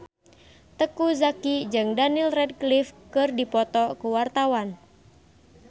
Teuku Zacky jeung Daniel Radcliffe keur dipoto ku wartawan